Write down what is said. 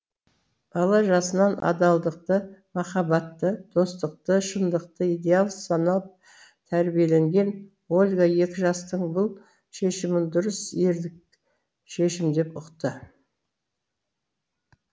бала жасынан адалдықты махаббатты достықты шындықты идеал санап тәрбиеленген ольга екі жастың бұл шешімін дұрыс ерлік шешім деп ұқты